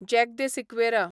jack de Sequeira